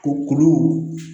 O kulu